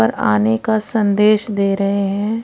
पर आने का संदेश दे रहे हैं।